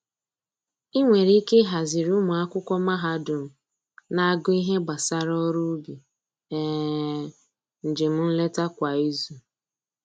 I nwere ike ihaziri ụmụ akwụkwọ mahadum na-agụ ihe gbasara ọrụ ubi um njem nleta kwa izu